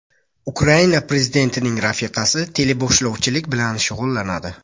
Ukraina prezidentining rafiqasi teleboshlovchilik bilan shug‘ullanadi.